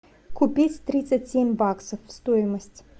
купить тридцать семь баксов стоимость